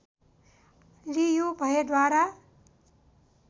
लियु भएद्वारा